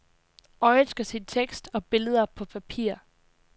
Øjet skal se tekst og billeder på papir.